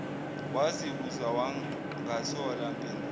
wazibuza wangathola mpendulo